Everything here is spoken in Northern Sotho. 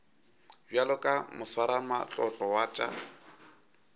bjalo ka moswaramatlotlo wa tša